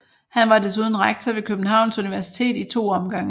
Han var desuden rektor ved Københavns Universitet i to omgange